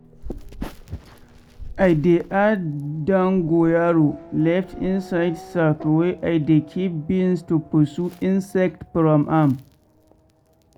i dey add dongorayo leaf inside sack wey i dey keep beans to pursue insect from am.